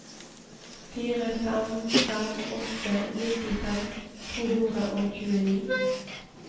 fire fem fem åtte nittifem to hundre og tjueni